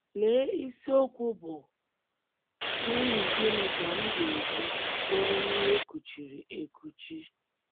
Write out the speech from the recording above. Lee isiokwu bụ́ “ N’ihi Gịnị Ka M Ga - eji Bụrụ Nwa E Kuchiri Ekuchi? ”